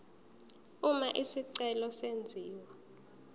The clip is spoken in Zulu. uma isicelo senziwa